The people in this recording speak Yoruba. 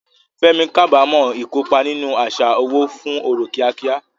Fẹ́mi kábàámọ̀ ìkópa nínú àṣà owó fún ọrọ̀ kíákíá.